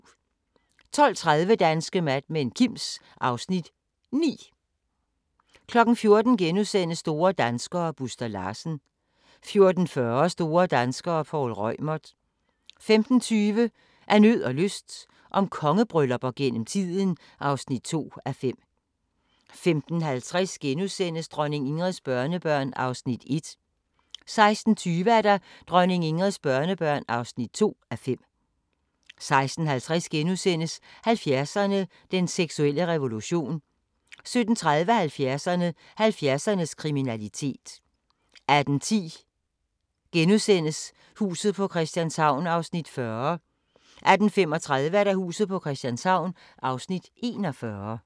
12:30: Danske Mad Men: Kims (Afs. 9) 14:00: Store danskere - Buster Larsen * 14:40: Store danskere - Poul Reumert 15:20: Af nød og lyst – om kongebryllupper gennem tiden (2:5) 15:50: Dronning Ingrids børnebørn (1:5)* 16:20: Dronning Ingrids børnebørn (2:5) 16:50: 70'erne: Den seksuelle revolution * 17:30: 70'erne: 70'ernes kriminalitet 18:10: Huset på Christianshavn (40:84)* 18:35: Huset på Christianshavn (41:84)*